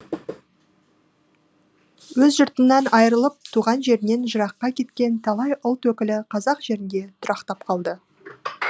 өз жұртынан айырылып туған жерінен жыраққа кеткен талай ұлт өкілі қазақ жерінде тұрақтап қалды